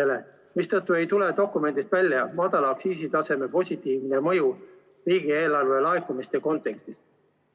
ja seetõttu ei tule dokumendist välja madala aktsiisitaseme positiivne mõju riigieelarve laekumistele.